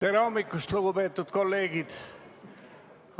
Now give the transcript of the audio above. Tere hommikust, lugupeetud kolleegid!